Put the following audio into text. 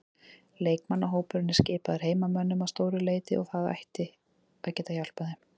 Leikmannahópurinn er skipaður heimamönnum að stóru leyti og það gæti hjálpað þeim.